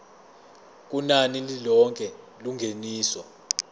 kunani lilonke lengeniso